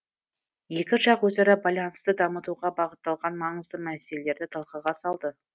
екі жақ өзара байланысты дамытуға бағытталған маңызды мәселелерді талқыға салды